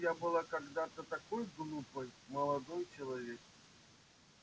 я была когда-то такой глупой молодой человек